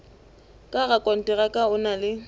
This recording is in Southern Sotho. ka rakonteraka o na le